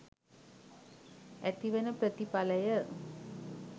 ඇතිවන ප්‍රතිඵලය